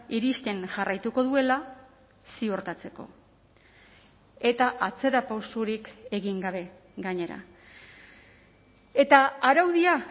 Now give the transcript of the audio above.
iristen jarraituko duela ziurtatzeko eta atzerapausorik egin gabe gainera eta araudia